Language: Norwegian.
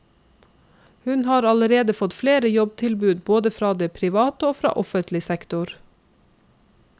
Hun har allerede fått flere jobbtilbud både fra private og fra offentlig sektor.